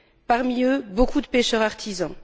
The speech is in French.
Parmi eux, beaucoup de pêcheurs artisans.